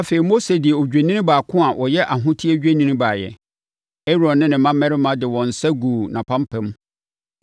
Afei, Mose de odwennini baako a ɔyɛ ahoteɛ dwennini baeɛ. Aaron ne ne mmammarima de wɔn nsa guu nʼapampam.